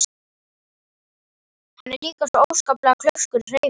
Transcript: Hann er líka svo óskaplega klaufskur í hreyfingum.